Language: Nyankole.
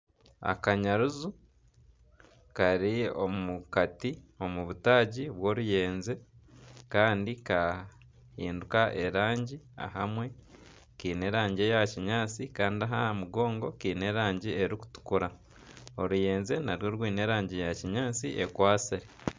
Akanyaruju kari omu Kati omu butaagi bw'oruyenje Kandi kahinduka erangi ahamwe Kaine erangi eya kinyatsi Kandi aha mugongo Kaine erangi erikutukura oruyenje narwo rwine erangi ya kinyatsi ekwatsire.